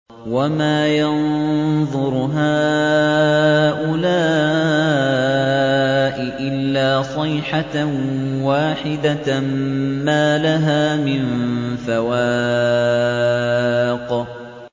وَمَا يَنظُرُ هَٰؤُلَاءِ إِلَّا صَيْحَةً وَاحِدَةً مَّا لَهَا مِن فَوَاقٍ